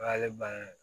O y'ale bannen ye